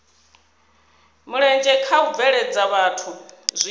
mulenzhe kha u bveledza zwithu